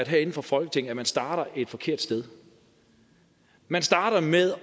herinde fra folketinget starter et forkert sted man starter med